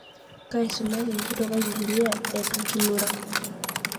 Kaisomaki nkitokai bibilia eitu kulura